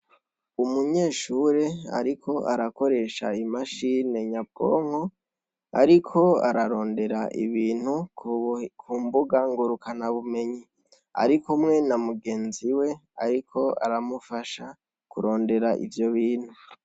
Umunyeshure ariko arakoresha imashine nyabwonko ariko ararondera ibintu ku mbuga ngurukana bumenyi arikumwe na mugenzi we ariko aramufasha kurondera ivyo bintu.